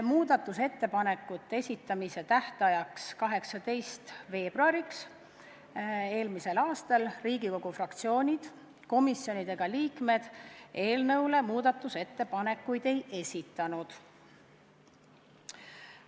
Muudatusettepanekute esitamise tähtajaks, 18. veebruariks eelmisel aastal Riigikogu fraktsioonid, komisjonid ega liikmed eelnõu kohta muudatusettepanekuid ei esitanud.